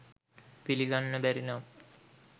පිළිගන්න බැරි නම්